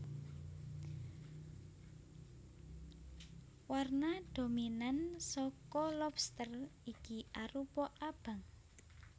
Warna dominan saka lobster iki arupa abang